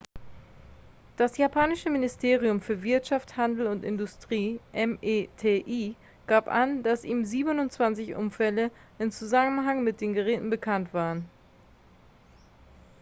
das japanische ministerium für wirtschaft handel und industrie meti gab an dass ihm 27 unfälle im zusammenhang mit den geräten bekannt waren